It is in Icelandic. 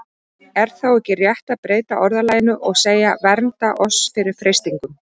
Er þá ekki rétt að breyta orðalaginu og segja: Vernda oss fyrir freistingum?